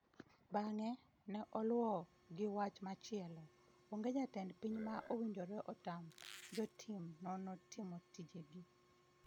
Bang'e, ne oluwo gi wach machielo: "Onge jatend piny ma owinjore otam jotim nonro timo tijegi.